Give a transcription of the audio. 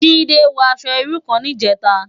Jide wò aṣò irú kán nijètá